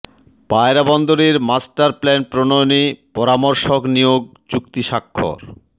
পায়রা বন্দরের master plan প্রণয়নে পরামর্শক নিয়োগ চুক্তি স্বাক্ষর